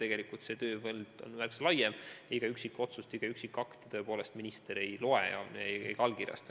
Tegelikult ministeeriumi tööpõld on märksa laiem ja iga allasutuse üksikotsust, üksikakti minister ei loe ega allkirjasta.